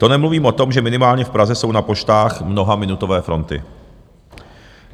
To nemluvím o tom, že minimálně v Praze jsou na poštách mnohaminutové fronty.